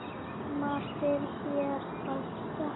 Margt er hér að þakka